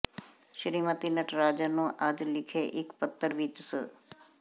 ਸ਼੍ਰੀਮਤੀ ਨਟਰਾਜਨ ਨੂੰ ਅੱਜ ਲਿਖੇ ਇੱਕ ਪੱਤਰ ਵਿੱਚ ਸ